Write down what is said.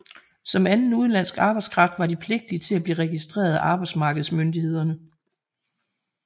Som anden udenlandsk arbejdskraft var de pligtige til at blive registreret af arbejdsmarkedsmyndighederne